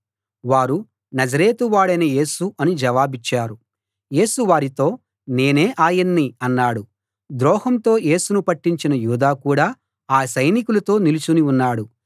వారు నజరేతు వాడైన యేసు అని జవాబిచ్చారు యేసు వారితో నేనే ఆయన్ని అన్నాడు ద్రోహంతో యేసును పట్టించిన యూదా కూడా ఆ సైనికులతో నిలుచుని ఉన్నాడు